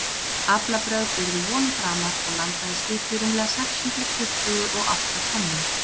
aflabrögð urðu vonum framar og landaði skipið rúmlega sex hundruð tuttugu og átta tonnum